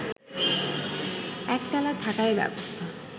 একতলায় থাকার ব্যবস্থা